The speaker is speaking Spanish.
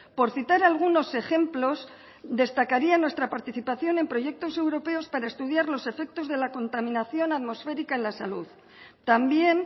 por citar algunos ejemplos destacaría nuestra participación en proyectos europeos para estudiar los efectos de la contaminación atmosférica en la salud también